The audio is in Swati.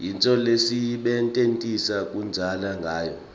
yintfo lesiyisebentisa kudansa ngawo